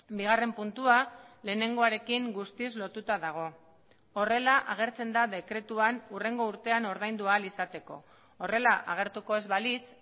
bigarren puntua lehenengoarekin guztiz lotuta dago horrela agertzen da dekretuan hurrengo urtean ordaindu ahal izateko horrela agertuko ez balitz